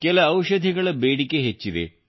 ಕೆಲ ಔಷಧಿಗಳ ಬೇಡಿಕೆ ಹೆಚ್ಚಿದೆ